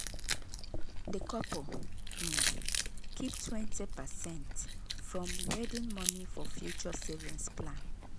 the couple um keep 20 percent from wedding money for future savings plan.